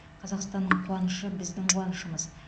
қазақстанның қуанышы біздің қуанышымыз